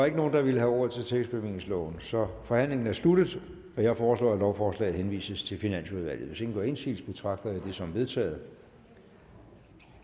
ikke nogen der vil have ordet til tillægsbevillingsloven så forhandlingen er sluttet jeg foreslår at lovforslaget henvises til finansudvalget hvis ingen gør indsigelse betragter jeg det som vedtaget